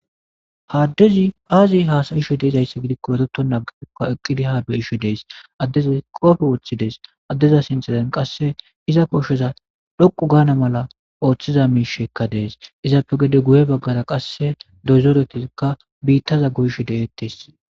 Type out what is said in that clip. Ha addezi aazi haasayishe deezaysse gidikko eretona eqqidi ha be7ishe de7ees. Addezi qoobe woththidees. Addeza sinthen qasse iza koshoza dhoqu gaana mala ooththiza miishekka dees izappe gede guye baggara qasse doozoretizikka biittaza goyshe de7eettes.